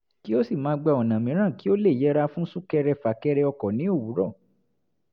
kó sì máa gba ọ̀nà mìíràn kí ó lè yẹra fún sún-kẹrẹ-fà-kẹrẹ ọkọ̀ ní òwúrọ̀